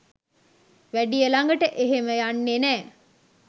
වැඩිය ලඟට එහෙම යන්නේ නෑ